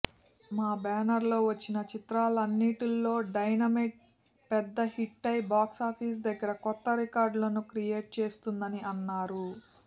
మా బ్యానర్ లో వచ్చిన చిత్రాలన్నింటిలో డైనమైట్ పెద్ద హిట్టై బాక్సాఫీస్ దగ్గర కొత్త రికార్డులను క్రియేట్ చేస్తుందని అన్నారు